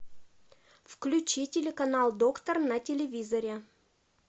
включи телеканал доктор на телевизоре